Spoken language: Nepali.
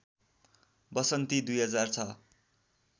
वसन्ती २००६